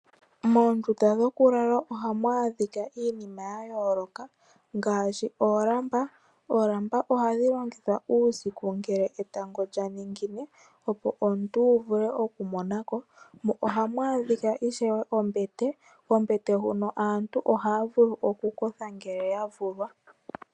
Moondunda dhoku lala ohamu adhika iinima ya yooloka ngaashi oolamba ,oolamba ohadhi longithwa uusiku ngele etango lyaningine opo omuntu wu vule oku mona ko mo ohamu adhika ishewe ombete kombete huno aantu ohaa vulu okukothelako ngele ya vulwa.